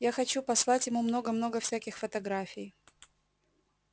я хочу послать ему много-много всяких фотографий